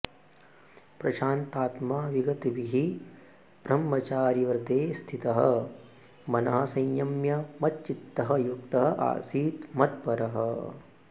प्रशान्तात्मा विगतभीः ब्रह्मचारिव्रते स्थितः मनः संयम्य मच्चित्तः युक्तः आसीत मत्परः